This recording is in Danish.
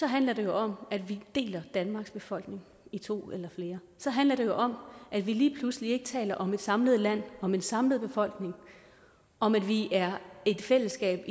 handler det om at vi deler danmarks befolkning i to eller flere så handler det om at vi lige pludselig ikke taler om et samlet land om en samlet befolkning om at vi er et fællesskab